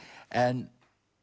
en